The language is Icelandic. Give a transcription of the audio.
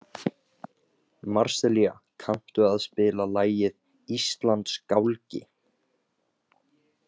Marselía, kanntu að spila lagið „Íslandsgálgi“?